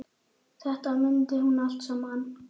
Þetta mundi hún allt saman.